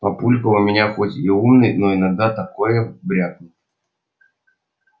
папулька у меня хоть и умный но иногда такое брякнет